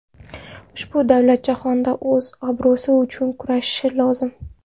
Ushbu davlat jahonda o‘z obro‘si uchun kurashishi lozim.